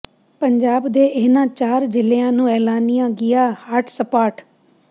ਪੰਜਾਬ ਦੇ ਇਹਨਾਂ ਚਾਰ ਜ਼ਿਲ੍ਹਿਆਂ ਨੂੰ ਐਲਾਨਿਆ ਗਿਆ ਹਾਟ ਸਪਾਟ